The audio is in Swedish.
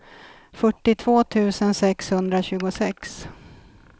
fyrtiotvå tusen sexhundratjugosex